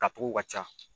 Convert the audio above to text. Tacogo ka ca